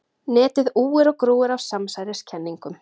Netið úir og grúir af samsæriskenningum.